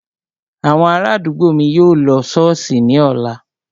Àwọn ará àdúgbò mi yóò lọ ṣọ́ọ̀ṣì ní ọ̀la